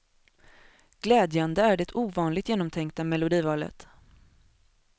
Glädjande är det ovanligt genomtänkta melodivalet.